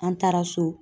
An taara so